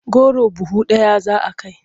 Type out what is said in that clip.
Goro buhu ɗaya za a kai.